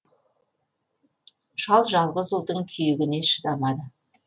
шал жалғыз ұлдың күйігіне шыдамады